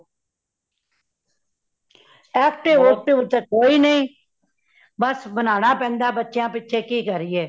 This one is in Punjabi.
active ਉਕਟਿਵ ਤੇ ਕੋਈ ਨਹੀਂ, ਬੱਸ ਬਨਾਨਾ ਪੈਂਦਾ ਹੈ ਬੱਚਿਆਂ ਪਿੱਛੇ ਕੀ ਕਰੀਏ